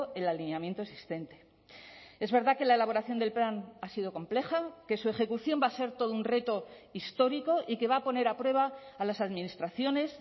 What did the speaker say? el alineamiento existente es verdad que la elaboración del plan ha sido compleja que su ejecución va a ser todo un reto histórico y que va a poner a prueba a las administraciones